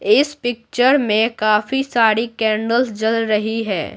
इस पिक्चर में काफी सारी कैंडल्स जल रही है।